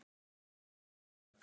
Guð hvað ég sá eftir því!